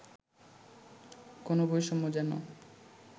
কোন বৈষম্য যেন